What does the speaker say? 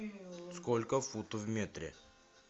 сколько футов в метре